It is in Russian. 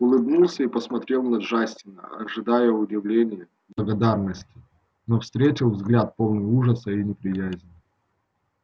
улыбнулся и посмотрел на джастина ожидая удивления благодарности но встретил взгляд полный ужаса и неприязни